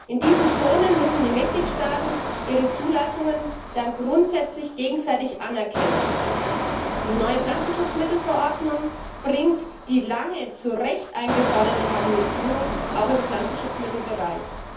In diesen Zonen müssen die Mitgliedstaaten ihre Zulassungen dann grundsätzlich gegenseitig anerkennen. Die neue Pflanzenschutzmittelverordnung bringt die lange zu Recht eingeforderte Harmonisierung auch im Pflanzenschutzmittelbereich.